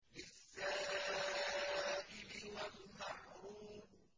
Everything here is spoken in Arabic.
لِّلسَّائِلِ وَالْمَحْرُومِ